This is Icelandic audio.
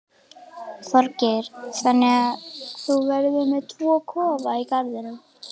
Þorgeir: Þannig að þú verður með tvo kofa í garðinum?